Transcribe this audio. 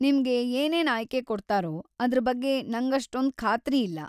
ನಿಮ್ಗೆ ಏನೇನ್ ಆಯ್ಕೆ ಕೊಡ್ತಾರೋ ಅದ್ರ ಬಗ್ಗೆ ನಂಗಷ್ಟೊಂದ್‌ ಖಾತ್ರಿ ಇಲ್ಲ.